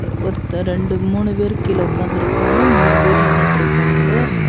ஒருத்தர் ரெண்டு மூணு பேரு கீழ உக்காந்துருக்காங்க. மூணு பேரு நின்னுட்டுருக்காங்க.